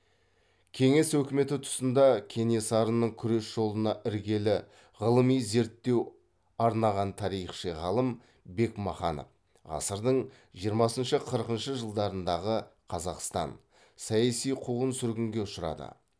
кеңес өкіметі тұсында кенесарының күрес жолына іргелі ғылыми зерттеу арнаған тарихшы ғалым бекмаханов саяси қуғын сүргінге ұшырады